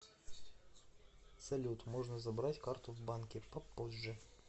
салют можно забрать карту в банке попозже